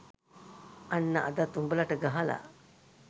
අන්න අදත් උඹලට ගහලා.